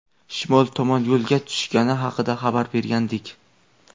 shimol tomon yo‘lga tushgani haqida xabar bergandik.